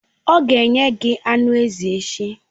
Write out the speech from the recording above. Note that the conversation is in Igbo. Ọ ga-enye gị anụ ezi echi.